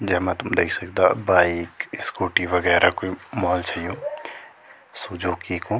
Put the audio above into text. जेमा तुम देख सकदा बाइक स्कूटी वगैरा कुई मॉल छ यु सुजुकी कु।